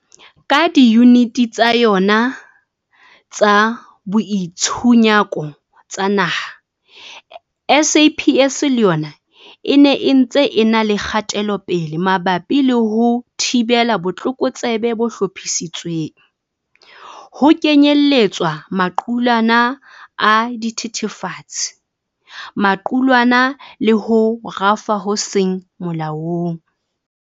Ka diyuniti tsa yona tsa boitshunyako tsa naha, SAPS le yona e ne e ntse e na le kgatelopele mabapi le ho thibela botlokotsebe bo hlophisitsweng, ho kenyeletswa maqulwana a dithethefatsi, maqulwana le ho rafa ho seng molaong.